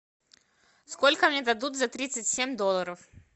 сколько мне дадут за тридцать семь долларов